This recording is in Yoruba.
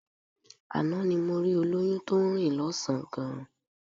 Àná ni mo rí olóyún tó ń rìn lọ́sàn-án gan